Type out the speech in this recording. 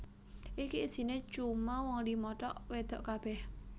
iki isine cuma wong lima tok wedok kabeh